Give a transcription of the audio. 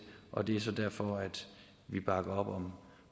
og det er så derfor at vi bakker op om